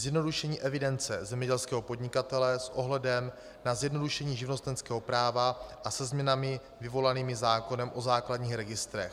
Zjednodušení evidence zemědělského podnikatele s ohledem na zjednodušení živnostenského práva a se změnami vyvolanými zákonem o základních registrech.